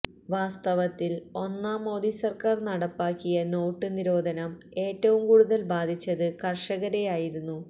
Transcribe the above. വാസ്തവത്തിൽ ഒന്നാം മോദിസർക്കാർ നടപ്പാക്കിയ നോട്ടുനിരോധനം ഏറ്റവും കൂടുതൽ ബാധിച്ചത് കർഷകരെയായിരുന്നു